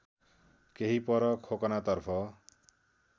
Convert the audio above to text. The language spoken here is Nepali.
केही पर खोकनातर्फ